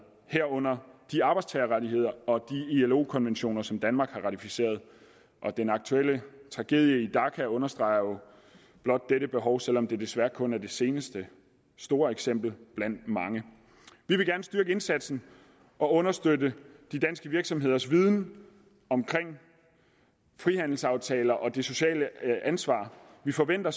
herunder de arbejdstagerrettigheder og de ilo konventioner som danmark har ratificeret den aktuelle tragedie i dhaka understreger jo blot dette behov selv om det desværre kun er det seneste store eksempel blandt mange vi vil gerne styrke indsatsen og understøtte de danske virksomheders viden omkring frihandelsaftalerne og det sociale ansvar vi forventer